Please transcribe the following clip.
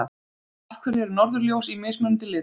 Af hverju eru norðurljós í mismunandi litum?